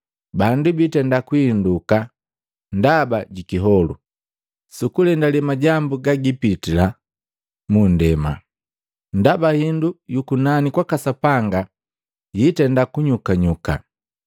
Bandu biitenda kuhinduka ndaba jikiholu, sukulendale majambu gagipitila mu nndema, ndaba hindu yu kunani kwaka Sapanga yiitenda kunyukanyuka.